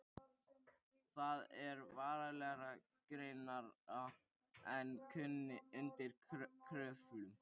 Það er verulega grynnra en undir Kröflu.